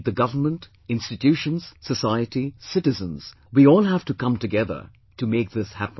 Be it the government, institutions, society, citizens we all have to come together to make this happen